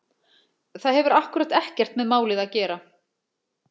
Það hefur akkúrat ekkert með málið að gera!